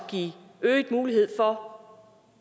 øget mulighed for